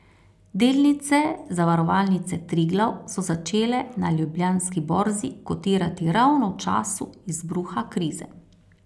Delnice Zavarovalnice Triglav so začele na Ljubljanski borzi kotirati ravno v času izbruha krize.